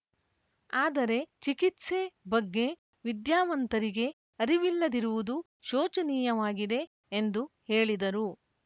ಆದರೆ ಚಿಕಿತ್ಸೆ ಬಗ್ಗೆ ವಿದ್ಯಾವಂತರಿಗೆ ಅರಿವಿಲ್ಲದಿರುವುದು ಶೋಚನೀಯವಾಗಿದೆ ಎಂದು ಹೇಳಿದರು